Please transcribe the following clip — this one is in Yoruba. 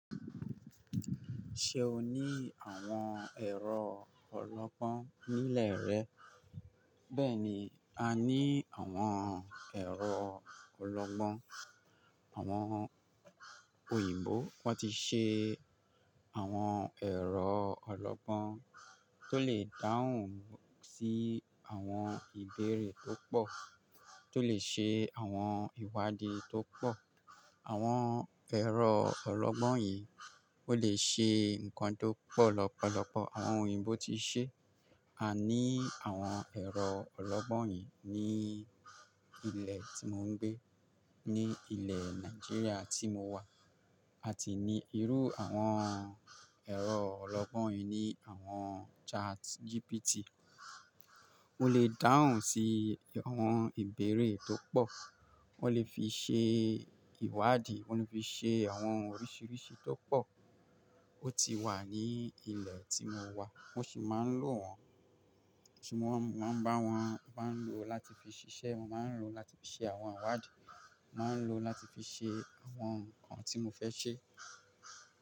Ṣe o ni àwọn ẹ̀rọ ọlọ́gbọ́n ní ilé rẹ? Bẹ́ẹ̀ni, a ní àwọn ẹ̀rọ ọlọ́gbọ́n. Àwọn òyìnbó wọ́n ti ṣe, àwọn ẹ̀rọ ọlọ́gbọ́n tó lè dáhùn sí àwọn ìbéèrè tó pọ̀, tó lè ṣe àwọn ìwádìí tó pọ̀. Àwọn ẹ̀rọ ọlọ́gbọ́n yìí ó lè ṣe ǹkan tó pọ̀ lọ́pọ̀lọpọ̀. Àwọn òyìnbó ti ṣe, a ní àwọn ẹ̀rọ ọlọ́gbọ́n yìí ní ilé tí mò ń gbé, ní ilẹ̀ Nàìjíríà tí mo wà, a ti ní irú àwọn ẹ̀rọ ọlọ́gbọ́n yìí ní àwọn Chat GPT. Ó lè dáhùn sí àwọn ìbéèrè tó pọ̀, wọ́n lè fi ṣe ìwádìí, wọ́n lè fi ṣe àwọn oríṣiríṣi tó pọ̀. Ó ti wà ní ilẹ̀ tí mo wà, mo ṣì máa ń lò wọ́n, ṣùgbọ́n mo máa n bá wọ́n má ń lò láti fi ṣiṣẹ́, mo máa ń lò láti fi ṣe àwọn ìwádìí, mo máa ń lò láti fi ṣe àwọn ǹkan tí mo fẹ́ ṣe.